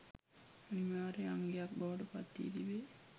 අනිවාර්ය අංගයක් බවට පත්වී තිබේ.